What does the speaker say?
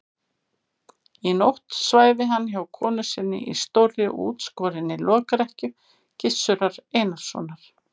Í nótt svæfi hann hjá konu sinni í stórri og útskorinni lokrekkju Gizurar Einarssonar.